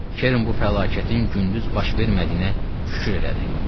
Kerrin bu fəlakətin gündüz baş vermədiyinə şükür elədi.